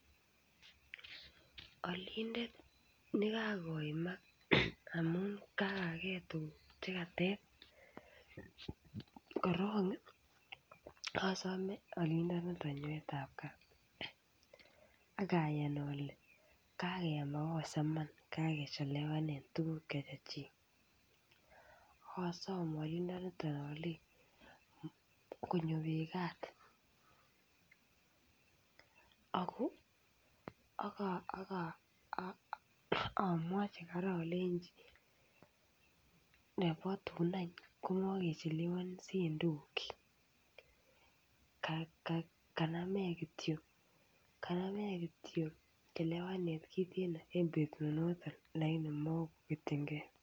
Olinde nekakoimak amun kaigagee tukuk chekateb korongi osome olindo niton nyoetab kat akayan ole kakenyai makosa Iman kakechelewanen tukuk che Chechik ak osom olindoinito olei konyoiwegaat Ako aka akamwochi koraa ilenji nebo tun any komokechelewonsiettukuk chik kanamgee kanamech kityok chelewaneten kitenino en betut noton lakini mokoketjingee.